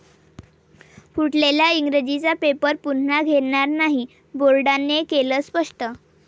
फुटलेल्या इंग्रजीचा पेपर पुन्हा घेणार नाही, बोर्डाने केलं स्पष्ट